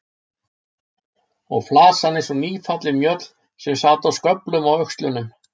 Og flasan eins og nýfallin mjöll sem sat í sköflum á öxlunum.